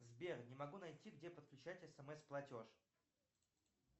сбер не могу найти где подключать смс платеж